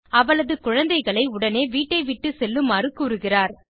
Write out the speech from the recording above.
அவளது குழந்தைகளை உடனே வீட்டை விட்டு செல்லுமாறு கூறுகிறார்